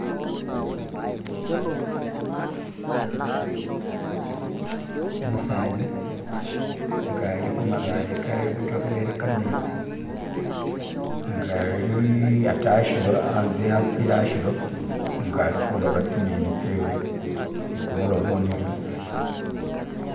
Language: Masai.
umusani nga ali khumabaale khebotohelele khametsi nga ali, atee hashilo hatse hazile hashilo ngali khuloba tsinyeni tsewe ni khumulobo ni lutsaala